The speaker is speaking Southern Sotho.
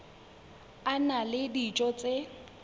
a na le dijo tse